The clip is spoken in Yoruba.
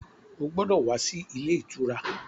Ó gbọ́dọ̀ wá sí ilé ìtura!